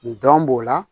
Nin dɔn b'o la